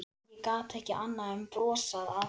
Ég gat ekki annað en brosað að henni.